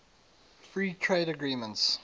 free trade agreements